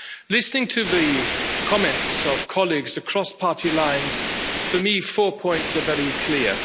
Listening to the comments of colleagues across party lines, for me four points are very clear.